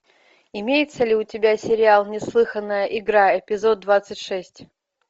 имеется ли у тебя сериал неслыханная игра эпизод двадцать шесть